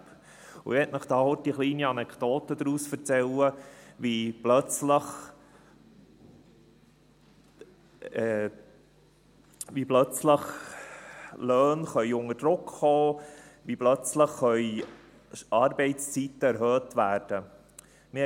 Daraus möchte ich Ihnen mit einer kleinen Anekdote erzählen, wie Löhne plötzlich unter Druck kommen und Arbeitszeiten plötzlich erhöht werden können.